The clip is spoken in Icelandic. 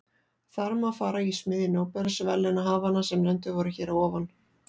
Þar má fara í smiðju nóbelsverðlaunahafanna sem nefndir voru hér að ofan.